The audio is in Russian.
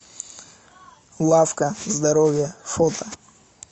лавка здоровья фото